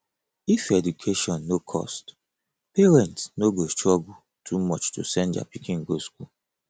if education no cost parents no go struggle too much to send their pikin go school